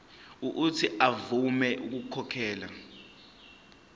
uuthi avume ukukhokhela